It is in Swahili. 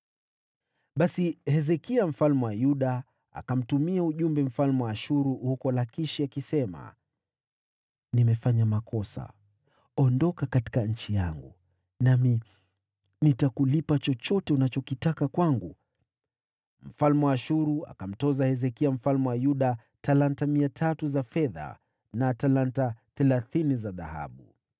Basi Hezekia mfalme wa Yuda akamtumia ujumbe mfalme wa Ashuru huko Lakishi akisema: “Nimefanya makosa. Ondoka katika nchi yangu, nami nitakulipa chochote unachokitaka kwangu.” Mfalme wa Ashuru akamtoza Hezekia mfalme wa Yuda talanta 300 za fedha, na talanta thelathini za dhahabu.